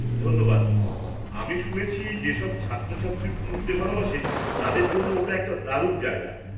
ধন্যবাদ, আমি শুনেছি যেসব ছাত্রছাত্রী পড়তে ভালবাসে তাদের জন্য ওটা একটা দারুণ জায়গা।